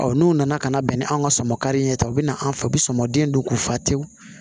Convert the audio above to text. n'u nana ka na bɛn ni an ka sɔmin ye ta u be na an fɛ u be sɔŋɔ den don k'u fa tewu